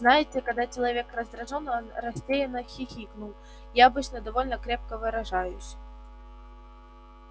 знаете когда человек раздражён он растерянно хихикнул я обычно довольно крепко выражаюсь